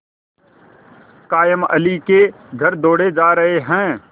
कायमअली के घर दौड़े जा रहे हैं